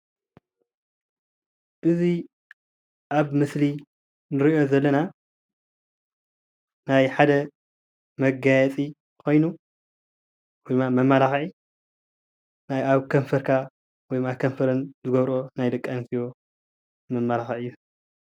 እዚ ኣብ ምስሊ እንሪኦ ዘለና ናይ ሓደ መጋየፂ ኮይኑ መማላክዒ ናይ ኣብ ከንፈርካ ኣብ ከንፈረን ዝገብርኦ ናይ ደቂ ኣንስትዮ መማላክዒ እዩ፡፡